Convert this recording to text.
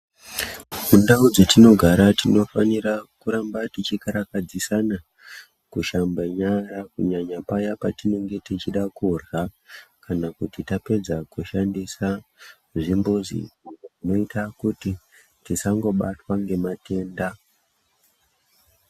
Mundau dzetinogara tinofanira kugara tinofanira kuramba teikarakadzisana kushambe nyara kunyanya paya patinenge techida kurya kana kuti tapedza kushandisa zvimbuzi zvinoita kuti tisango batwa ngematenda.